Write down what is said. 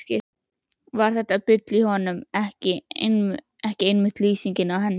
Var þetta bull í honum ekki einmitt lýsingin á henni?